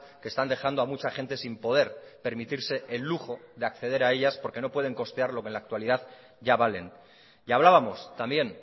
que están dejando a mucha gente sin poder permitirse el lujo de acceder a ellas porque no pueden costear lo que en la actualidad ya valen y hablábamos también